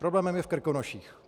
Problémem i v Krkonoších.